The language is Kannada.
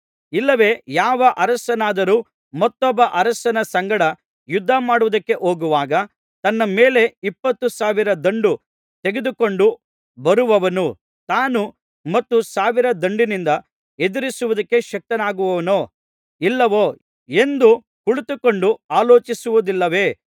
ಇಲ್ಲವೆ ಯಾವ ಅರಸನಾದರೂ ಮತ್ತೊಬ್ಬ ಅರಸನ ಸಂಗಡ ಯುದ್ಧಮಾಡುವುದಕ್ಕೆ ಹೋಗುವಾಗ ತನ್ನ ಮೇಲೆ ಇಪ್ಪತ್ತು ಸಾವಿರ ದಂಡು ತೆಗೆದುಕೊಂಡು ಬರುವವನನ್ನು ತಾನು ಹತ್ತು ಸಾವಿರ ದಂಡಿನಿಂದ ಎದುರಿಸುವುದಕ್ಕೆ ಶಕ್ತನಾಗುವೆನೋ ಇಲ್ಲವೋ ಎಂದು ಕುಳಿತುಕೊಂಡು ಆಲೋಚಿಸುವುದಿಲ್ಲವೇ